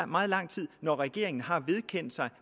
meget lang tid når regeringen har vedkendt sig